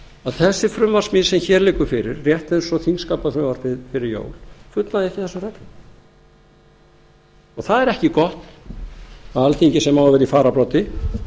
að þessi frumvarpssmíð sem hér liggur fyrir rétt eins og þingskapafrumvarpið fyrir jól fullnægi ekki þessum reglum og það er ekki gott að alþingi sem á að vera í fararbroddi